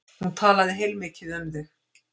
Hún talaði heilmikið um þig.